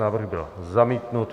Návrh byl zamítnut.